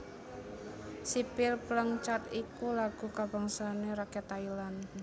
Sipil Phleng Chat iku lagu kabangsané rakyat Thailand